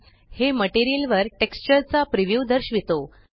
हे मटेरियल वर टेक्स्चर चा प्रीव्यू दर्शवितो